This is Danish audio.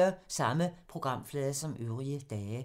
Samme programflade som øvrige dage